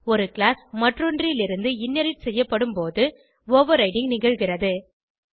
ஒரு கிளாஸ் மற்றொன்றிலிருந்து இன்ஹெரைட் செய்யப்படும்போது ஓவர்ரைடிங் நிகழ்கிறது